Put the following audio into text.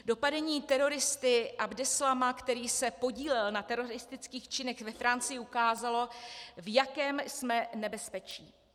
Dopadení teroristy Abdeslama, který se podílel na teroristických činech ve Francii, ukázalo, v jakém jsme nebezpečí.